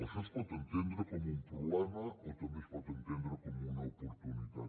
això es pot entendre com un problema o també es pot entendre com una oportunitat